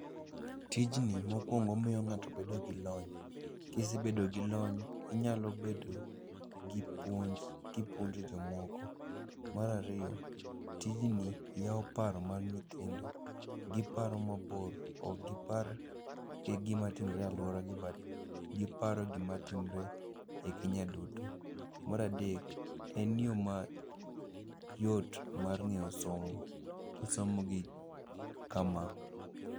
Tijni mokwongo omiyo ng'ato bedo gi lony. Kisebedo gi lony, inyalo bedo gi puonj kipuonjo jomoko. Marariyo, tijni yawo par mar nyithindo, giparo mabor ok gipar e gima timore alwora gi. but giparo e gima timore e Kenya duto. Maradek, en yo ma yot mar ng'eyo somo kisomogi kama.